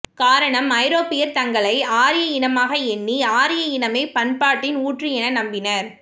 காரணம் ஐரோப்பியர் தங்களை ஆரிய இனமாக எண்ணி ஆரிய இனமே பண்பாட்டின் ஊற்று என நம்பினர்